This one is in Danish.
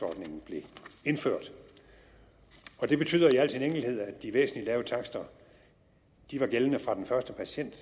ordningen blev indført det betyder i al sin enkelhed at de væsentlig lave takster var gældende fra den første patient